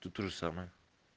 тут тоже самое